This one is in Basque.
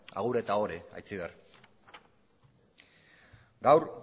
agur eta ohore aitziber gaur